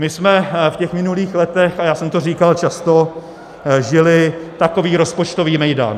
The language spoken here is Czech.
My jsme v těch minulých letech, a já jsem to říkal často, žili takový rozpočtový mejdan.